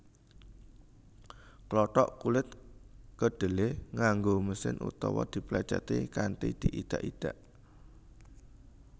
Klothok kulit kedhelé nganggo mesin utawa diplècèti kanthi diidak idak